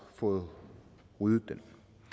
fået ryddet den